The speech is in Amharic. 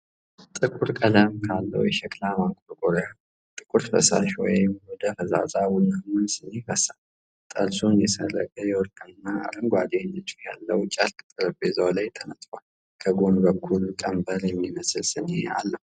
ጥቁር ቀለም ካለው የሸክላ ማንቆርቆሪያ ጥቁር ፈሳሽ ወደ ፈዛዛ ቡናማ ስኒ ይፈሳል። ጠርዙን የሠረገ የወርቅና አረንጓዴ ንድፍ ያለው ጨርቅ ጠረጴዛው ላይ ተነጥፏል። ከጎን በኩል ቀንበር የሚመስል ስኒ አለው።